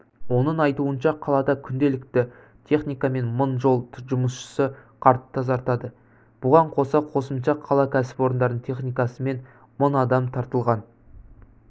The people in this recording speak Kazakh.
оның айтуынша қалада күнделікті техника мен мың жол жұмысшысы қар тазартады бұған қоса қосымша қала кәсіпорындарының техникасы мен мың адам тартылған